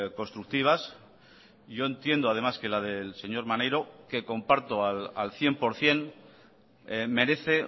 constructivas yo entiendo además que la del señor maneiro que comparto al cien por ciento merece